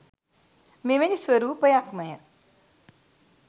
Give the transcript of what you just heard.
මෙවැනි ස්වරූපයක්මය.